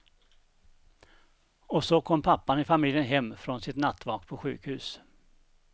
Och så kom pappan i familjen hem från sitt nattvak på sjukhus.